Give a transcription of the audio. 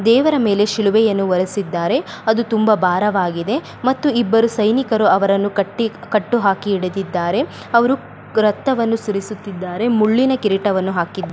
ದೇವರ ಮೇಲೆ ಶಿಲುಬೆಯನ್ನು ಹೊರಿಸಿದ್ದಾರೆ ಅದು ತುಂಬಾ ಭಾರವಾಗಿದೆ ಮತ್ತು ಇಬ್ಬರು ಸೈನಿಕರು ಅವರನ್ನು ಕಟ್ಟಿ ಕಟ್ಟು ಹಾಕಿ ಹಿಡಿದಿದ್ದಾರೆ ಅವರು ರಕ್ತವನ್ನು ಸುರಿಸುತ್ತಿದ್ದಾರೆ ಮುಳ್ಳಿನ ಕಿರೀಟವನ್ನು ಹಾಕಿದಾರೆ.